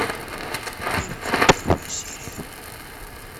мерлин первая серия